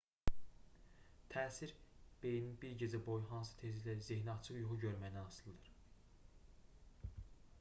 təsir beyinin bir gecə boyu hansı tezliklə zehniaçıq yuxu görməyindən asılıdır